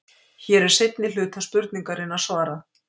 Hér er seinni hluta spurningarinnar svarað.